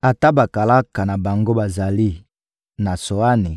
Ata bakalaka na bango bazali na Tsoani